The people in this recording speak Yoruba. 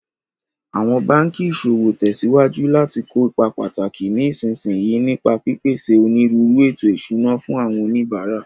Awọn banki iṣowo tẹsiwaju lati ko ipa pataki ní ìsinsìnyí, nípa pípèsè onírúurú ètò ìṣúná fún àwọn oníbàárà.